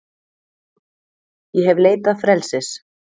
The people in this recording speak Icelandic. Ég hef leitað frelsis,